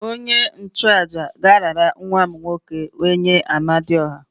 Onye-nchu-àjà ga-arara nwa m nwoke nye Amadiọha